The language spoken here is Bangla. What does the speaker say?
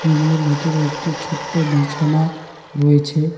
রুম -এর ভেতরে একটি ছোট্ট বিছানা রয়েছে।